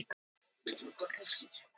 Selina, hvað er klukkan?